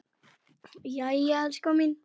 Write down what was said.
Jæja, elskan mín.